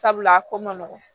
Sabula a ko man nɔgɔn